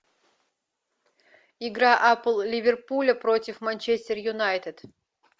игра апл ливерпуля против манчестер юнайтед